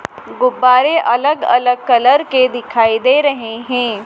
गुब्बारे अलग अलग कलर के दिखाई दे रहे हैं।